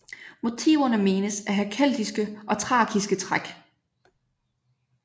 Motiverne menes at have keltiske og thrakiske træk